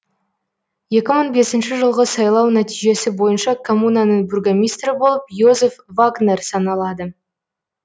екі мың бесінші жылғы сайлау нәтижесі бойынша коммунаның бургомистрі болып йозеф вагнер саналады